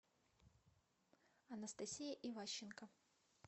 анастасия иващенко